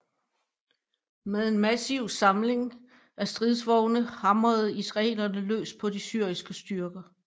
Med en massiv samling af stridsvogne hamrede israelerne løs på de syriske styrker